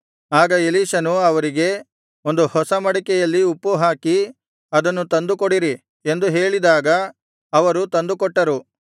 ಆಗ ಎಲೀಷನು ಅವರಿಗೆ ಒಂದು ಹೊಸ ಮಡಿಕೆಯಲ್ಲಿ ಉಪ್ಪು ಹಾಕಿ ಅದನ್ನು ತಂದು ಕೊಡಿರಿ ಎಂದು ಹೇಳಿದಾಗ ಅವರು ತಂದುಕೊಟ್ಟರು